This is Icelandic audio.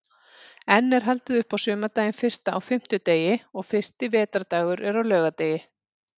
Enn er haldið upp á sumardaginn fyrsta á fimmtudegi og fyrsti vetrardagur er á laugardegi.